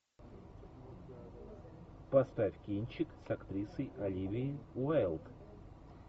поставь кинчик с актрисой оливией уайлд